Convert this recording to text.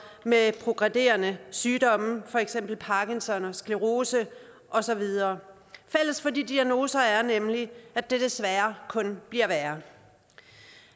med progredierende sygdomme for eksempel parkinson sclerose og så videre fælles for de diagnoser er nemlig at det desværre kun bliver værre